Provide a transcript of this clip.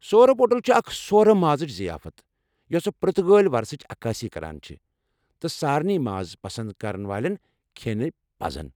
سورپوٹل چھِ اکھ سورٕ مازٕچہِ ضِیافت یوٚسہٕ پُرتگٲلی ورثٕچ عکٲسی کران چھےٚ تہٕ سارنی ماز پسنٛد كرن والٮ۪ن كھینہِ پزِ ۔